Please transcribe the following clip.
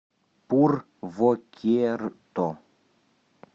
пурвокерто